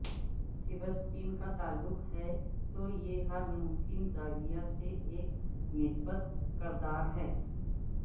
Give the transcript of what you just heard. Sebastian کا تعلق ہے تو یہ ہر ممکن زاویہ سے ایک مثبت کردار ہے